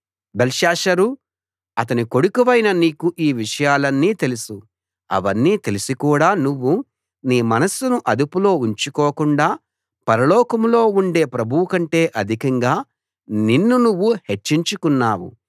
బెల్షస్సరూ అతని కొడుకువైన నీకు ఈ విషయాలన్నీ తెలుసు అవన్నీ తెలిసి కూడా నువ్వు నీ మనస్సును అదుపులో ఉంచుకోకుండా పరలోకంలో ఉండే ప్రభువుకంటే అధికంగా నిన్ను నువ్వు హెచ్చించుకున్నావు